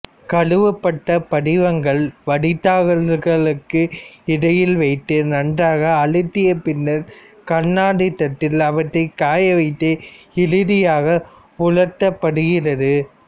கழுவப்பட்ட படிகங்களை வடிதாள்களூக்கு இடையில் வைத்து நன்றாக அழுத்திய பின்னர் கண்ணாடித்தட்டில் அவற்றை காயவைத்து இறுதியாக உலர்த்தப்படுகிறது